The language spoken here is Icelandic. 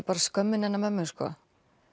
bara skömmin hennar mömmu já